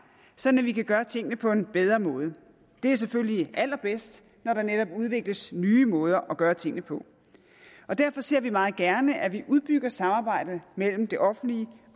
så vi kan gøre tingene på en bedre måde det er selvfølgelig allerbedst når der netop udvikles nye måder at gøre tingene på derfor ser vi meget gerne at vi udbygger samarbejdet mellem det offentlige